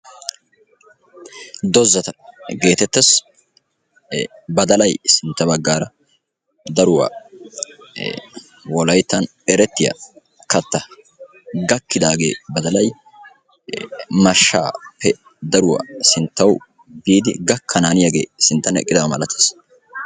Doozata geetettees e badalay sintta baggaara daruwaa e wolayttan erettiya katta. gakkidagee mashshaappe daruwaa sinttaw biidi gakkananiyaagee sinttan eqqidaba malattees.